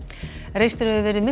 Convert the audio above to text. reistur hefur verið